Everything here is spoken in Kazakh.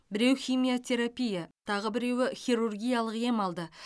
біреу химиотерапия тағы біреуі хирургиялық ем алды